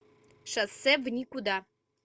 шоссе в никуда